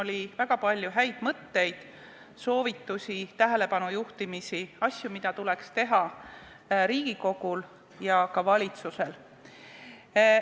Siin oli väga palju häid mõtteid, soovitusi, tähelepanu juhtimisi asjadele, mida tuleks teha Riigikogul ja ka valitsusel.